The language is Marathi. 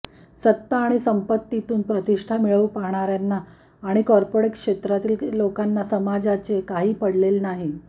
सत्ता आणि संपत्तीतून प्रतिष्ठा मिळवू पाहणाऱ्यांना आणि कॉर्पोरेट क्षेत्रातील लोकांना समाजाचे काही पडलेले नाही